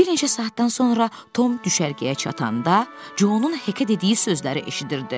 Bir neçə saatdan sonra Tom düşərgəyə çatanda Conun Hekə dediyi sözləri eşidirdi.